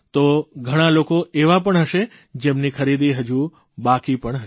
તો ઘણા લોકો એવા પણ હશે જેમની ખરીદી હજી બાકી પણ હશે